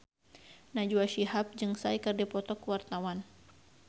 Najwa Shihab jeung Psy keur dipoto ku wartawan